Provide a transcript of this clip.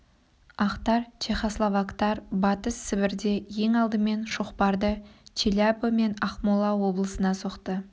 ақтар чехословактар батыс сібірде ең алдымен шоқпарды челябі мен ақмола облысына соқты